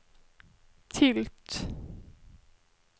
tilt